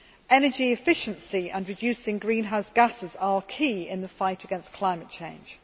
Energy efficiency and reducing greenhouse gases are key in the fight against climate change.